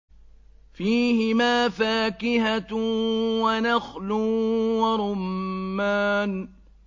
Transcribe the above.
فِيهِمَا فَاكِهَةٌ وَنَخْلٌ وَرُمَّانٌ